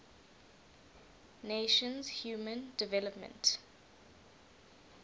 nations human development